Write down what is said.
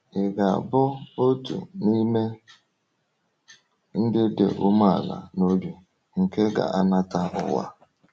Ị ga-abụ otu n’ime “ndị dị umeala n’obi” nke ga-anata ụwa?